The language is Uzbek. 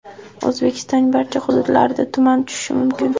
O‘zbekistonning barcha hududlarida tuman tushishi mumkin.